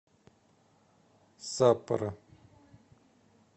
саппоро